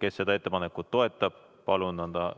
Kes seda ettepanekut toetab, palun anda